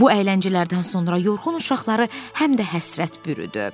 Bu əyləncələrdən sonra yorğun uşaqları həm də həsrət bürüdü.